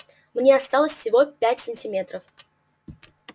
мне осталось всего пять сантиметров